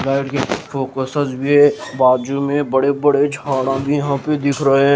के फोकसस भी है बाजू में बड़े बड़े छाना भी यहाँ पे दिख रहे हैं।